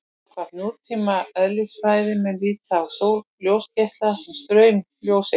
Samkvæmt nútíma eðlisfræði má líta á ljósgeisla sem straum ljóseinda.